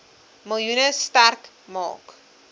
miljoen sterk maak